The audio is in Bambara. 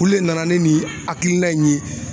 Olu le nana ni nin hakilina in ye.